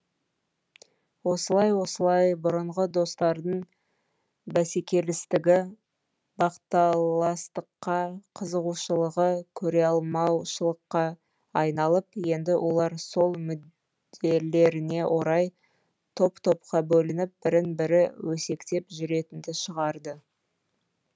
осылай осылай бұрынғы достардың бәсекелестігі бақталастыққа қызығушылығы көреалмаушылыққа айналып енді олар сол мүделлеріне орай топ топқа бөлініп бірін бірі өсектеп жүретінді шығарды